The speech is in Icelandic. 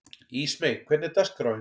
Ísmey, hvernig er dagskráin?